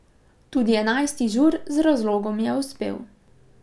Tudi enajsti Žur z razlogom je uspel.